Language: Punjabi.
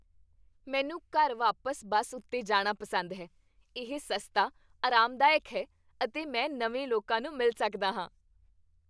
ਮੈਨੂੰ ਘਰ ਵਾਪਸ ਬਸ ਉੱਤੇ ਜਾਣਾ ਪਸੰਦ ਹੈ। ਇਹ ਸਸਤਾ, ਆਰਾਮਦਾਇਕ ਹੈ ਅਤੇ ਮੈਂ ਨਵੇਂ ਲੋਕਾਂ ਨੂੰ ਮਿਲ ਸਕਦਾ ਹਾਂ।